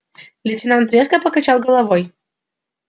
лейтенант резко покачал головой